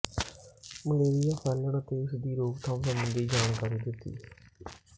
malaria ਫੈਲਣ ਅਤੇ ਇਸ ਦੀ ਰੋਕਥਾਮ ਸਬੰਧੀ ਜਾਣਕਾਰੀ ਦਿੱਤੀ